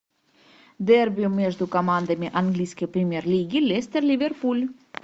дерби между командами английской премьер лиги лестер ливерпуль